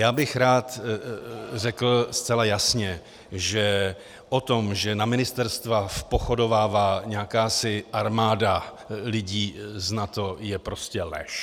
Já bych rád řekl zcela jasně, že o tom, že na ministerstva vpochodovává jakási armáda lidí z NATO, je prostě lež.